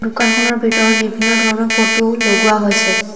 দোকানখনৰ ভিতৰত বিভিন্ন ধৰণৰ ফটো লগোৱা হৈছে।